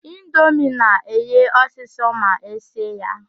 Indomie na-eghe ọsịsọ ma esie ya.